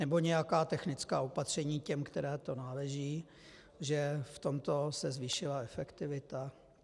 Nebo nějaká technická opatření těm, kterým to náleží, že v tomto se zvýšila efektivita?